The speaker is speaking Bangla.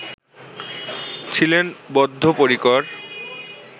ছিলেন বদ্ধপরিকর